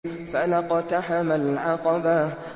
فَلَا اقْتَحَمَ الْعَقَبَةَ